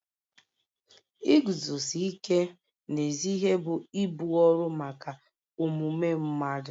Iguzosi ike n'ezi ihe bụ ibu ọrụ maka omume mmadụ